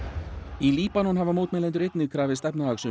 í Líbanon hafa mótmælendur einnig krafist